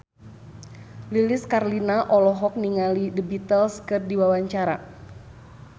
Lilis Karlina olohok ningali The Beatles keur diwawancara